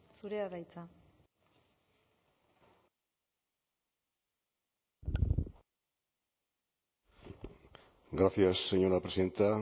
zurea da hitza gracias señora presidenta